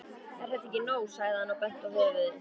Er þetta ekki nóg? sagði hann og benti á höfuðið.